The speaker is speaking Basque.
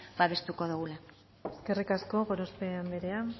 babestuko dogula eskerrik asko gorospe anderea